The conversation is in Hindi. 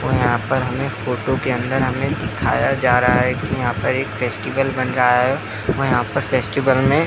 और यहाँ पर हमे फोटो के अंदर हमे दिखाया जा रहा हैकी यहाँ पर एक फेस्टिवल बन रहा है और यहाँ पर फेस्टिवल में --